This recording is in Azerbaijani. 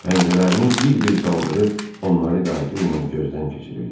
Pəncərələrini bir-bir qaldırıb onları qayğı ilə gözdən keçirirdi.